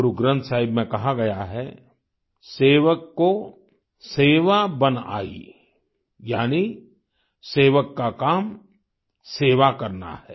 गुरुग्रन्थ साहिब में कहा गया है सेवक को सेवा बन आई यानी सेवक का काम सेवा करना है